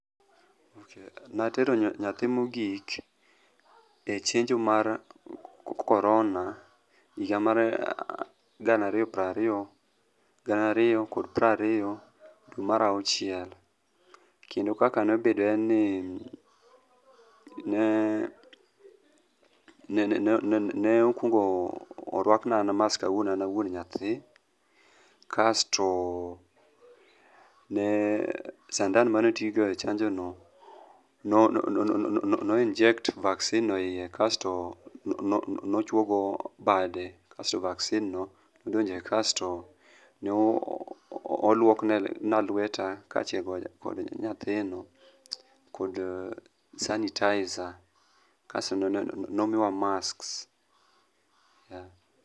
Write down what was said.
atero nyathi mogik e chenjo mar corona,e higa mar gana ariyo piero ariyo gariyo kod prariyo dwe mar auchiel, kendo kaka nobedo ne en ni, nokuongo orwakna mask an awuon awuon nyathi, kasto sandan manotigo e chanjo no no inject vaccine no iie, kasto nochuogo bade, kasto vaccine no nodonje kasto noluokna lweta, kaachiel kod nyathino kod sanitizer kasto nomiwa masks.